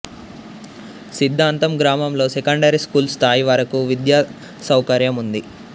సిద్దాంతం గ్రామంలో secondary school స్థాయి వరకు విద్యాసౌకర్యం ఉంది